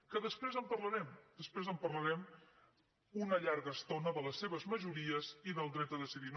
que després en parlarem després en parlarem una llarga estona de les seves majories i del dret a decidir